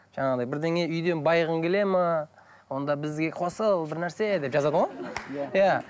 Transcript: жаңағыдай бірдеңе үйден байығың келеді ме онда бізге қосыл бірнәрсе деп жазады ғой иә